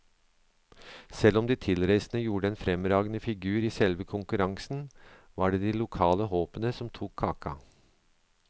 Selv om de tilreisende gjorde en fremragende figur i selve konkurransen, var det de lokale håpene som tok kaka.